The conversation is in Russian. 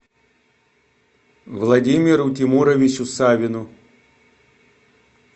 владимиру тимуровичу савину